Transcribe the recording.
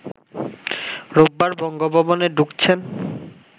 রোববার বঙ্গভবনে ঢুকছেন